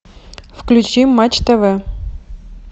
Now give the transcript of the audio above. включи матч тв